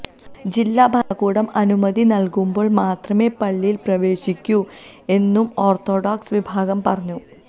ജില്ലാ ഭരണകൂടം അനുമതി നല്കുമ്പോള് മാത്രമേ പള്ളിയില് പ്രവേശിക്കൂ എന്നും ഓര്ത്തഡോക്സ് വിഭാഗം പറഞ്ഞു